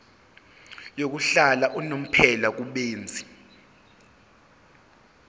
yokuhlala unomphela kubenzi